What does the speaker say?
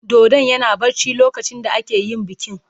Dodon yana barci lokacin da ake yin bikin.